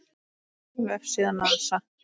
Vefsíða NASA.